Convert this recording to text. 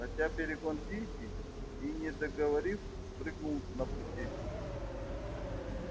хотя перегон тихий и не договорив спрыгнул на пути